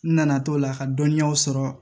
N nana to la ka dɔnniyaw sɔrɔ